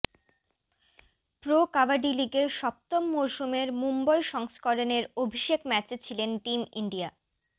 pro kabaddi লিগের সপ্তম মরসুমের মুম্বই সংস্করণের অভিষেক ম্য়াচে ছিলেন টিম ইন্ডিয়া